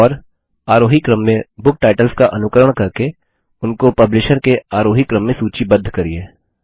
और आरोही क्रम में बुक टाइटल्स का अनुकरण करके उनको पब्लिशर के आरोही क्रम में सूचीबद्ध करिये